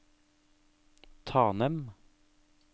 Tanem